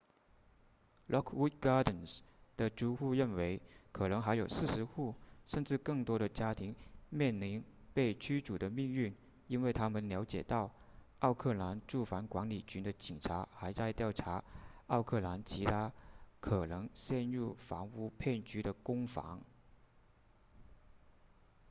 lockwood gardens 的租户认为可能还有40户甚至更多的家庭面临被驱逐的命运因为他们了解到奥克兰住房管理局的警察还在调查奥克兰其他可能陷入房屋骗局的公房